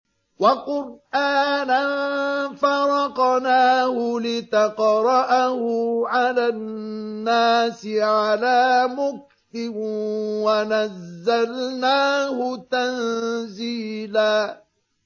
وَقُرْآنًا فَرَقْنَاهُ لِتَقْرَأَهُ عَلَى النَّاسِ عَلَىٰ مُكْثٍ وَنَزَّلْنَاهُ تَنزِيلًا